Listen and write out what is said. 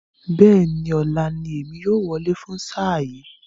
Bẹ́ẹ̀ni, ọ̀la ní èmi yóò wọlé fún sáà yìí